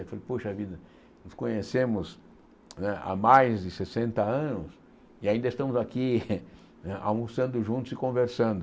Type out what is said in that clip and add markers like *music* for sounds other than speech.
Eu falei, poxa vida, nos conhecemos né há mais de sessenta anos e ainda estamos aqui *laughs* almoçando juntos e conversando.